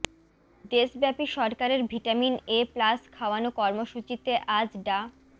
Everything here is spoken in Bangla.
দেশব্যাপী সরকারের ভিটামিন এ প্লাস খাওয়ানো কর্মসূচিতে আজ ডা